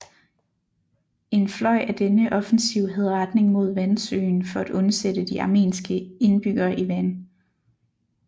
En fløj af denne offensiv havde retning mod Vansøen for at undsætte de armenske indbyggere i Van